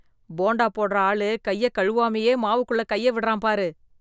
போண்டா போடற ஆளு கையக் கழுவாமயே மாவுக்குள்ள கைய விடுறான் பாரு.